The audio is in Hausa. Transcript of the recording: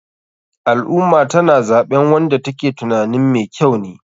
Al ummah tana zaɓen wanda ta ke tunanin me kyau ne.